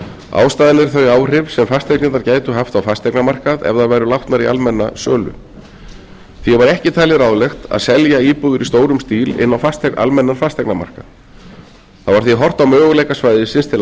eru þau áhrif sem fasteignirnar gætu haft á fasteignamarkað ef þær væru látnar í almenna sölu því var ekki talið ráðlegt að selja íbúðir í stórum stíl inn á almennan fasteignamarkað það var því horft á möguleika svæðisins til